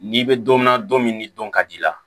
N'i bɛ don min na don min ni don ka d'i la